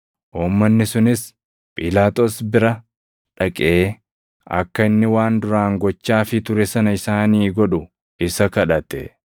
Uummanni sunis Phiilaaxoos bira dhaqee akka inni waan duraan gochaafii ture sana isaanii godhu isa kadhate.